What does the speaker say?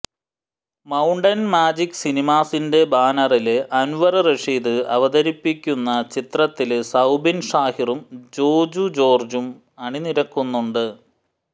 mountain Magic സിനിമാസിന്റെ ബാനറില് അന്വര് റഷീദ് അവതരിപ്പിക്കുന്ന ചിത്രത്തില് സൌബിന് ഷാഹിറും ജോജു ജോര്ജും അണിനിരക്കുന്നുണ്ട്